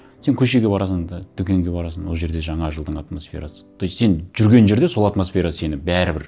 сен көшеге барасың да дүкенге барасың ол жерде жаңа жылдың атмосферасы то есть сен жүрген жерде сол атмосфера сені бәрібір